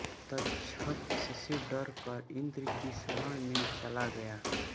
तक्षक इससे डरकर इंद्र की शरण में चला गया